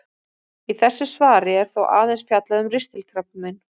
Í þessu svari er þó aðeins fjallað um ristilkrabbamein.